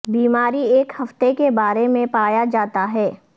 بیماری ایک ہفتے کے بارے میں پایا جاتا ہے